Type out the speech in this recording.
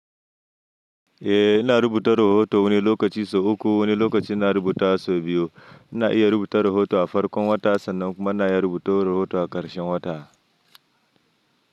Eh ina rubuta rahoto wani lokaci sau uku, wani lokaci ina rubuta sau biyu. Ina iya rubuta rahoto a farkon wata sannan kuma na iya rubuta rahoto a ƙarshen wata.